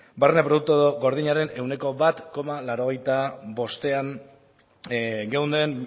barne produktu gordinaren ehuneko bat koma laurogeita bostean geunden